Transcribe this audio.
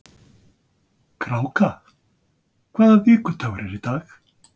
Kráka, hvaða vikudagur er í dag?